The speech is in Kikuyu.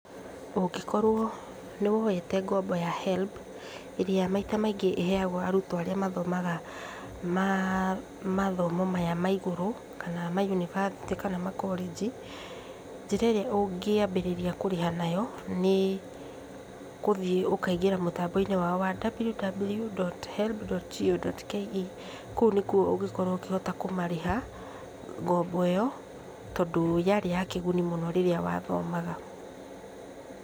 Ũngĩkorwo nĩwoete ngombo ya HELB, ĩrĩa maita maingĩ ĩheagwo arutwo arĩa mathomaga mathomo maya ma igũrũ kana mayunibathĩtĩ kana makorĩnji, njĩra ĩrĩa ũngĩambĩrĩria kũrĩha nayo nĩ gũthiĩ ũkaingĩra mũtambo-inĩ wao wa www.helb.go.ke, Kũu nĩkuo ũngĩkorwo ũkĩhota kũmarĩha ngombo ĩyo, tondũ yarĩ ya kĩguni mũno rĩrĩa wathomaga.